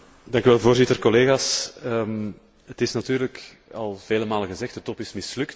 Voorzitter, collega's, het is natuurlijk al vele malen gezegd de top is mislukt.